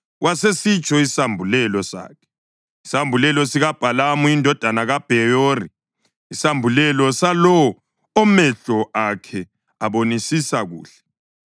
wasesitsho isambulelo sakhe: “Isambulelo sikaBhalamu indodana kaBheyori, isambulelo salowo omehlo akhe abonisisa kuhle,